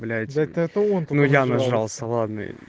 блять ну я нажрался ладно